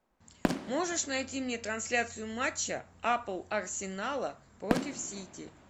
можешь найти мне трансляцию матча апл арсенала против сити